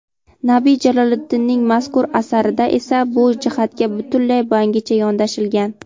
Nabi Jaloliddinning mazkur asarida esa bu jihatga butunlay yangicha yondashilgan.